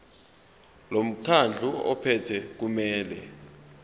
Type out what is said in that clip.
lomkhandlu ophethe kumele